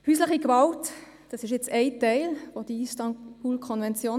Häusliche Gewalt ist ein Teil der Istanbul-Konvention.